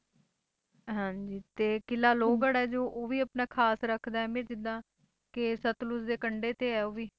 ਹਾਂਜੀ ਤੇ ਕਿਲ੍ਹਾ ਲੋਹਗੜ੍ਹ ਹੈ ਜੋ ਉਹ ਵੀ ਆਪਣਾ ਖ਼ਾਸ ਰੱਖਦਾ ਅਹਿਮੀਅਤ ਜਿੱਦਾਂ ਕਿ ਸਤਲੁਜ ਦੇ ਕੰਡੇ ਤੇ ਹੈ ਉਹ ਵੀ।